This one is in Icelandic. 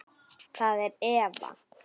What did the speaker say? Það er Eva.